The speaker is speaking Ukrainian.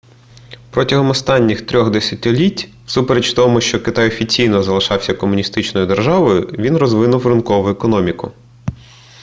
протягом останніх 3-х десятиліть всупереч тому що китай офіційно залишався комуністичною державою він розвинув ринкову економіку